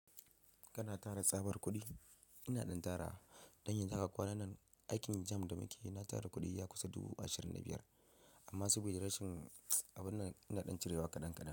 Kana tara tsabar kuɗi? Ina ɗan tara. Don yanzu haka kwanannan aikin jamb da muke yi, na tara kuɗi ya kusa dubu ashirin da biyar. Amma saboda rashin abun nan ina ɗan cirewa kaɗan kaɗan.